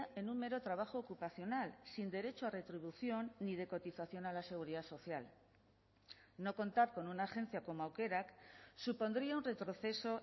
en un mero trabajo ocupacional sin derecho a retribución ni de cotización a la seguridad social no contar con una agencia como aukerak supondría un retroceso